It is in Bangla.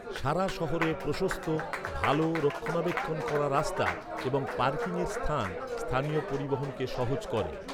সারা শহরে প্রশস্ত, ভাল রক্ষণাবেক্ষণ করা রাস্তা এবং পার্কিংয়ের স্থান, স্থানীয় পরিবহনকে সহজ করে।